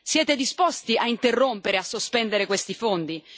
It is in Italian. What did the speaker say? Siete disposti a interrompere, a sospendere questi fondi?